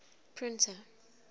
printer